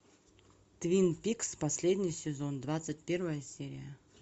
твин пикс последний сезон двадцать первая серия